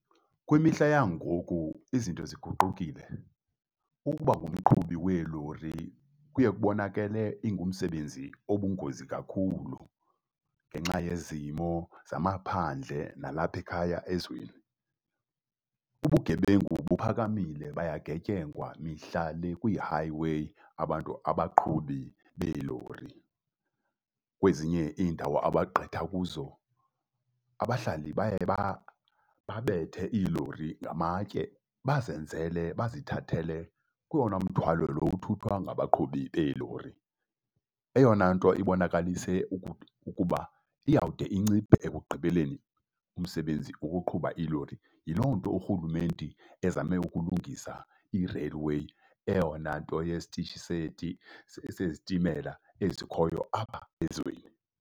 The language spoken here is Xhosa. Kwimihla yangoku izinto ziguqukile. Ukuba ngumqhubi weelori kuye kubonakele ingumsebenzi obungozi kakhulu ngenxa yezimo zamaphandle nalapha ekhaya ezweni. Ubugebengu buphakamile, bayagetyengwa mihla le kwii-highway abantu, abaqhubi beelori. Kwezinye iindawo abagqitha kuzo, abahlali baye babethe iilori ngamatye bazenzele bazithathele kuwona mthwalo lo uthuthwa ngabaqhubi beelori. Eyona nto ibonakalise ukuba iyawude inciphe ekugqibeleni ngumsebenzi wokuqhuba iilori. Yiloo nto urhulumente ezame ukulungisa i-railway, eyona nto yesitishi sezitimela ezikhoyo apha ezweni.